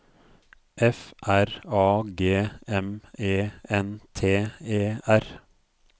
F R A G M E N T E R